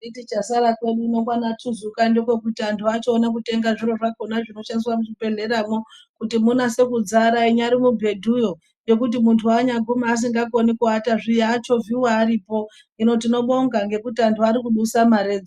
Iti chasara kwedu uno kwana tuzuka ndekwekuti àntu achione kutenga zviro zvakhona Zvinoshandiswa muzvibhedhlera mwo kuti munyase kudzara inyari mubhedhuyo ngekuti muntu anyaguma asingakoni kuwata zviya achovhiwe aripo hino tinobonga ngekuti àntu ari kudusa maredzo.